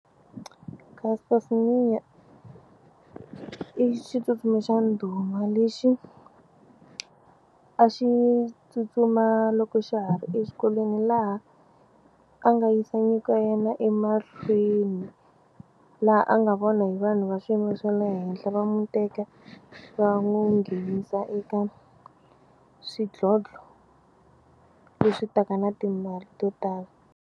Caster Semenya i xitsutsumi xa ndhuma lexi a xi tsutsuma loko xa ha ri exikolweni laha a nga yisa nyiko ya yena emahlweni laha a nga vona hi vanhu va swiyimo swa le henhla va n'wi teka va n'wi nghenisa eka swidlodlo leswi taka na timali to tala.